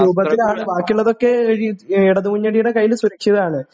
രൂപത്തിലാണ് ബാക്കിയുള്ളതൊക്കെ ഇടതുമുന്നണിയുടെ കയ്യിൽ സുരക്ഷിതമാണ്.